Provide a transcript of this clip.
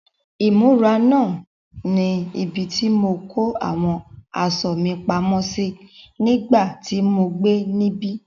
Ìmúra náà ni ibi tí mo kó àwọn aṣọ mi pamọ́ sí nígbà tí mo gbé níbí.